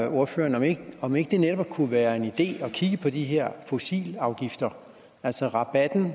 ordføreren om ikke det netop kunne være en idé at kigge på de her fossilafgifter altså rabatten